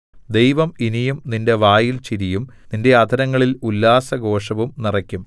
ദൈവം ഇനിയും നിന്റെ വായിൽ ചിരിയും നിന്റെ അധരങ്ങളിൽ ഉല്ലാസഘോഷവും നിറയ്ക്കും